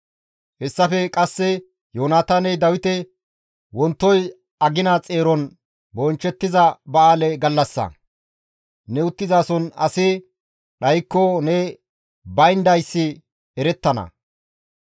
Hessafe qasse Yoonataaney Dawite, «Wontoy agina xeeron bonchchettiza ba7aale gallassa; ne uttizason asi dhaykko ne bayndayssi erettana.